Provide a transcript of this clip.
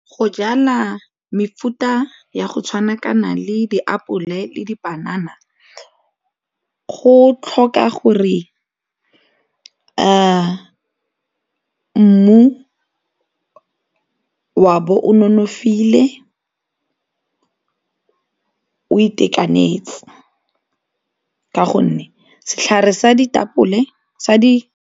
Go jala mefuta ya go tshwana kana le diapole le dipanana go tlhoka gore mmu o a bo o nonofile o itekanetse, ka gonne setlhare sa ditapole sa di.